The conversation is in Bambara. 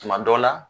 Tuma dɔ la